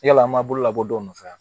Yala an b'a bolo labɔ dɔw nɔfɛ wa